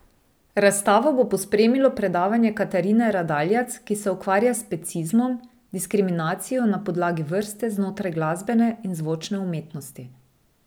Razstavo bo pospremilo predavanje Katarine Radaljac, ki se ukvarja s specizmom, diskriminacijo na podlagi vrste, znotraj glasbene in zvočne umetnosti.